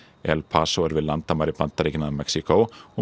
El Paso er við landamæri Bandaríkjanna að Mexíkó og